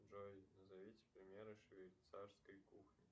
джой назовите примеры швейцарской кухни